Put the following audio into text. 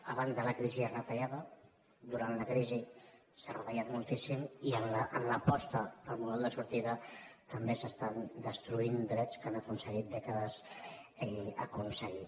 abans de la crisi es retallava durant la crisi s’ha retallat moltíssim i en l’aposta pel model de sortida també s’estan destruint drets que han costat dècades aconseguir